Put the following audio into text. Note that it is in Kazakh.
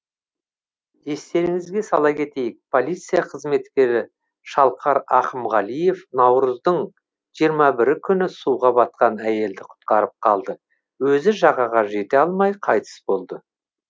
естеріңізге сала кетейік полиция қызметкері шалқар ақымғалиев наурыздың жиырма бір күні суға батқан әйелді құтқарып қалып өзі жағаға жете алмай қайтыс болды